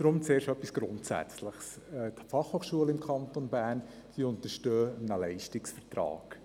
Deshalb zuerst etwas Grundsätzliches: Die Fachhochschule im Kanton Bern untersteht einem Leistungsvertrag.